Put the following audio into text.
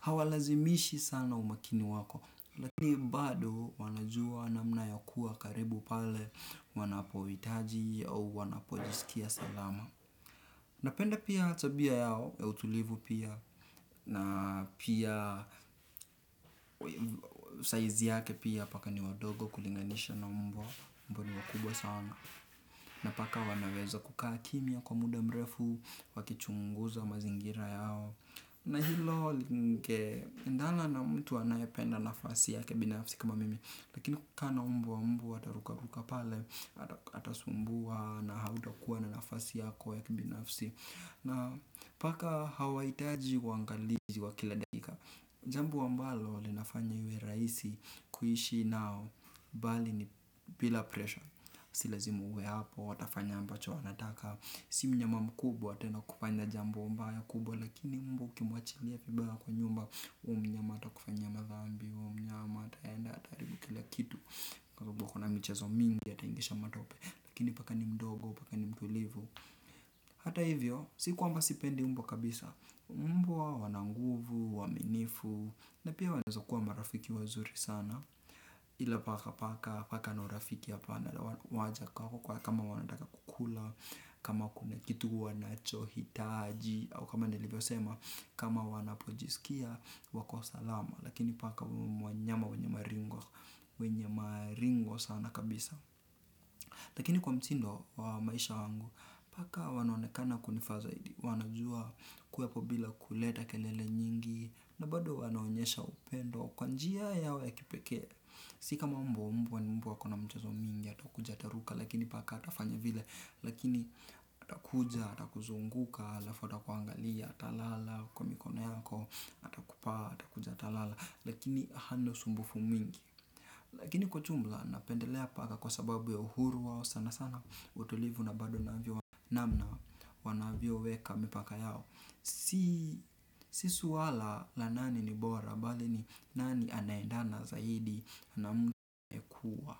Hawalazimishi sana umakini wako. Lakini bado wanajua namna ya kuwa karibu pale wanapohitaji au wanapojisikia salama. Napenda pia tabia yao ya utulivu pia. Na pia saizi yake pia paka ni wadogo kulinganisha na mbwa mbwa ni wakubwa sana. Na paka wanaweza kukaa kimya kwa muda mrefu. Wakichunguza mazingira yao na hilo linge endana na mtu anayependa nafasi yake binafsi kama mimi lakini kukaa na mbwa mbwa ataruka ruka pale. Atasumbua na hautakuwa na nafasi yako ya kibinafsi. Na paka hawaitaji uangalizi wa kila dakika. Jambo ambalo linafanya iwe rahisi kuishi nao bali ni bila pressure si lazima uwe hapo watafanya ambacho wanataka si mnyama mkubwa tena kufanya jambo mbaya kubwa lakini mbwa ukimwachilia vibaya kwa nyumba huyu mnyama atakufanyia madhambi huyu mnyama ataenda ata haribu kila kitu. Kwa sababu kuna michezo mingi ataingisha matope lakini paka ni mdogo, paka ni mtulivu. Hata hivyo, sikwamba sipendi mbwa kabisa, mbwa wananguvu, uaminifu, na pia wanaezakuwa marafiki wazuri sana, ilapaka paka, paka ana urafiki ya pana, waja kwako kama wanataka kukula, kama kuna kitu wanacho hitaji, au kama nilivyosema, kama wanapojisikia, wako salama, lakini paka wanyama wenye maringo sana kabisa. Lakini kwa mtindo wa maisha wangu, paka wanaonekana kunifaa zaidi, wanajua kuwepo bila kuleta kelele nyingi, na bado wanaonyesha upendo kwa njia yao ya kipeke. Sikama mbwa mbwa ni mbwa akona mchezo mwingi, atakuja ataruka, lakini paka hatafanya vile, lakini atakuja, atakuzunguka, halafu atakuangalia, atalala, kwa mikono yako, atakupaa, atakuja atalala, lakini hana usumbufu mwingi. Lakini kwa jumla napendelea paka kwa sababu ya uhuru wao sana sana utulivu na bado navyo namna wanavyo weka mipaka yao. Si swala la nani ni bora bali ni nani anaendana zaidi na m kua.